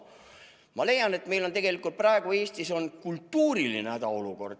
Ma leian, et meil on tegelikult praegu Eestis kultuuriline hädaolukord.